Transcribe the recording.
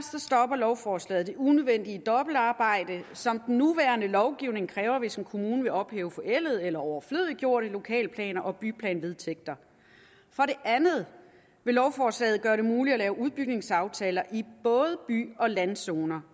lovforslaget det unødvendige dobbeltarbejde som den nuværende lovgivning kræver hvis en kommune vil ophæve forældede eller overflødiggjorte lokalplaner og byplanvedtægter for det andet vil lovforslaget gøre det muligt at lave udbygningsaftaler i både by og landzoner